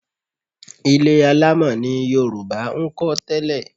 Ilé alámọ̀ ni Yorùbá ń kọ́ tẹ́lẹ̀